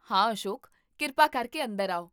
ਹਾਂ ਅਸ਼ੋਕ, ਕਿਰਪਾ ਕਰਕੇ ਅੰਦਰ ਆਓ